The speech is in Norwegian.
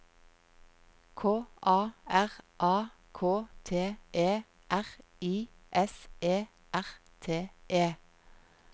K A R A K T E R I S E R T E